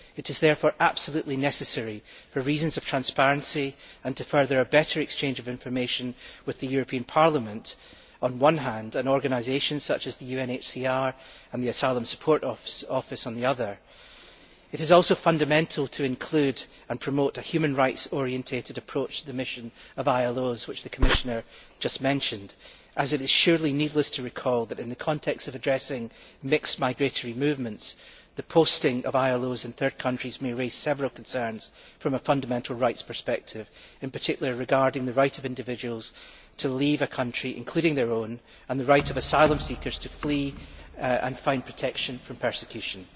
It is therefore absolutely necessary for reasons of transparency to further a better exchange of information with the European Parliament, on the one hand, and organisations such as the UNHCR and the Asylum Support Office, on the other. It is also fundamental to include and promote the human rights orientated approach to the mission of ILOs, which the Commissioner has just mentioned. It is surely needless to recall that, in the context of addressing mixed migratory movements, the posting of ILOs in third countries may raise several concerns from a fundamental rights perspective, in particular, regarding the right of individuals to leave a country, including their own, and the right of asylum seekers to flee and find protection from persecution.